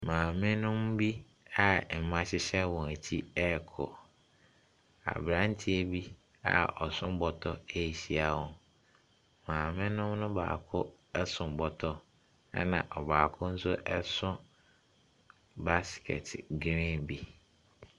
Maamenom bi a mma hyehyɛ wɔn akyi rekɔ, Aberanteɛ bi a ɔso bɔtɔ rehyia wɔn. Maamenom no baako so bɔtɔ, ɛna ɔbaako nso so basekɛte green bi.